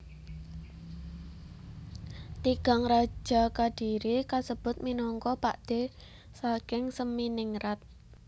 Tigang raja Kadiri kasebut minangka pakdhe saking Seminingrat